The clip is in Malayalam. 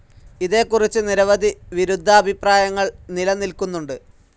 ഇതേക്കുറിച്ചു നിരവധി വിരുദ്ധാഭിപ്രായങ്ങൾ നിലനിൽക്കുന്നുണ്ട്.